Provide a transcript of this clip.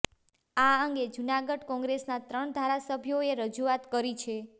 આ અંગે જૂનાગઢ કોંગ્રેસના ત્રણ ધારાસભ્યોએ રજુઆત કરી છે